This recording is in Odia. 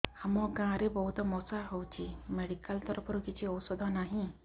ଆମ ଗାଁ ରେ ବହୁତ ମଶା ହଉଚି ମେଡିକାଲ ତରଫରୁ କିଛି ଔଷଧ ନାହିଁ